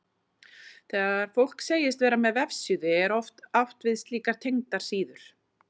Þegar fólk segist vera með vefsíðu er oft átt við slíkar tengdar síður.